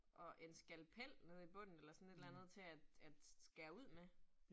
Og en skalpel nede i bunden eller sådan et eller andet til at at skære ud med